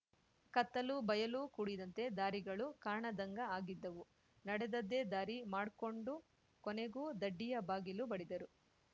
ಕತ್ತಲು ಬಯಲು ಕೂಡಿದಂತೆ ದಾರಿಗಳು ಕಾಣದ್ಹಂಗ ಆಗಿದ್ದವು ನಡೆದದ್ದೆ ದಾರಿ ಮಾಡ್ಕೊಂಡು ಕೊನೆಗೂ ದಡ್ಡಿಯ ಬಾಗಿಲು ಬಡಿದರು